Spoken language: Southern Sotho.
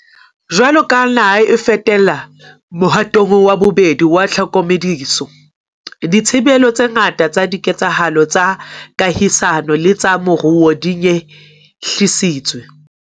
Jwaloka ha naha e fetela mohatong wa bobedi wa tlhokomediso, dithibelo tse ngata tsa diketsahalo tsa kahisano le tsa moruo di nyehlisitswe.